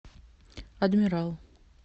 адмирал